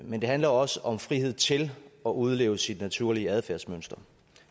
men det handler også om frihed til at udleve sit naturlige adfærdsmønster